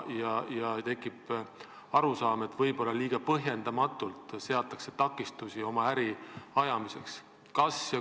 On tekkinud arusaam, et võib-olla põhjendamatult seatakse neile takistusi oma äri ajamiseks.